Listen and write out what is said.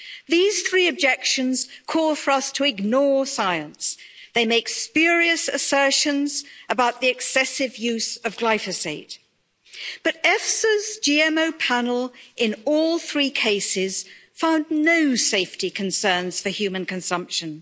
These three objections call for us to ignore science. They make spurious assertions about the excessive use of glyphosate, but EFSA's GMO panel in all three cases found no safety concerns for human consumption.